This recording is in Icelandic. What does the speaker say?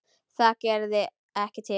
Það gerði ekki til.